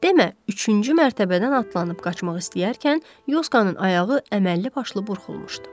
Demə, üçüncü mərtəbədən atlanıb qaçmaq istəyərkən Yoskanın ayağı əməlli başlı burxulmuşdu.